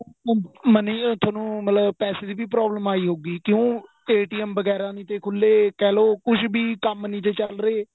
money ਤੁਹਾਨੂੰ ਮਤਲਬ ਪੈਸੇ ਦੀ ਵੀ problem ਆਈ ਹੋਊਗੀ ਕਿਉਂ ਵਗੇਰਾ ਨਹੀਂ ਤੇ ਖੁੱਲੇ ਕਹਿਲੋ ਕੁੱਛ ਵੀ ਕੰਮ ਨਹੀਂ ਜੇ ਚੱਲ ਰਹੇ